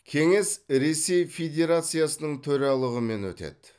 кеңес ресей федерациясының төралығымен өтеді